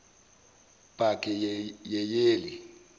pakeyeyeli